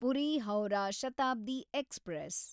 Puri Howrah Shatabdi express